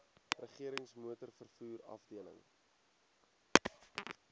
regerings motorvervoer afdeling